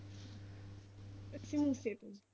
ਅਸੀਂ ਮੂਸੇ ਤੋਂ।